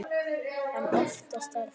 En oftast er það